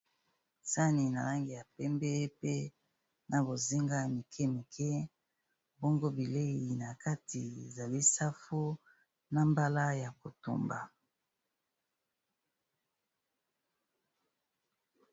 Sani na langi ya pembe pe na bozinga ya mike mike bongo bilei na kati ezali safu na mbala ya kotumba.